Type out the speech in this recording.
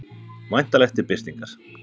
Væntanlegt til birtingar.